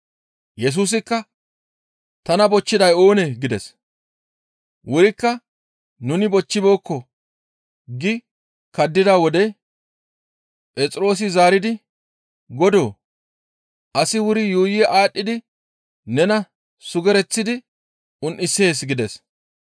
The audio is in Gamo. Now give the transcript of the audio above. Yesusikka, «Tana bochchiday oonee?» gides. Wurikka nuni bochchibeekko gi kaddida wode Phexroosi zaaridi, «Godoo! Asi wuri yuuyi aadhdhidi nena sugereththidi un7isees» gides.